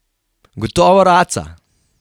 Gotovo raca!